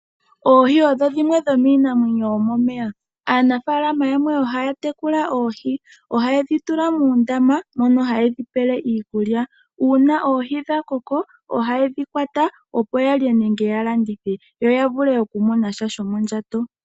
Oohi odho dhimwe dhomiinamwenyo yomomeya. Aanafaalama yamwe ohaya tekula oohi, ohaye dhi tula muundama mono haye dhi pele iikulya. Uuna oohi dha koko ohaye dhi kwata yalye nenge ya landithe, yo ya mone sha shomondjato.